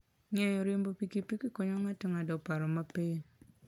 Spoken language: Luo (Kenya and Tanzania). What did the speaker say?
Ng'eyo riembo pikipiki konyo ng'ato ng'ado paro mapiyo.